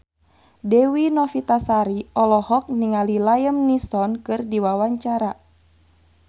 Dewi Novitasari olohok ningali Liam Neeson keur diwawancara